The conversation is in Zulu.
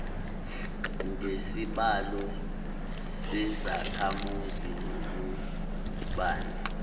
ngesibalo sezakhamuzi nobubanzi